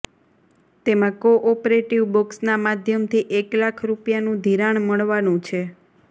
તેમાં cooperative બેન્ક્સના માધ્યમથી એક લાખ રૂપિયાનું ધિરાણ મળવાનું છે